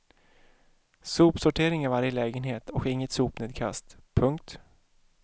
Sopsortering i varje lägenhet och inget sopnedkast. punkt